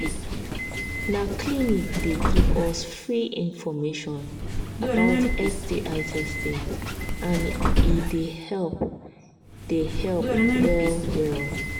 na clinic they give us free information about sti testing and he they help they help well well